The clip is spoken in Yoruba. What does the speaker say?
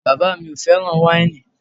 Bàbá mi ò fẹ́ràn wáìnì